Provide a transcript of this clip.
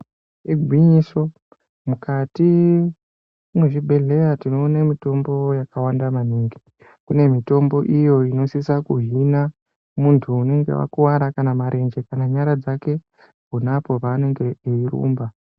Igwinyiso mukati mwezvibhedhleya tinoona mitombo yakawanda maningi kune mitombo iyo inosisa kuhina muntu unenga akuwara kana marenje kana nyara dzake pona apa paanenge eirumba.